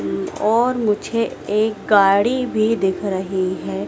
और मुझे एक गाड़ी भी दिख रही है।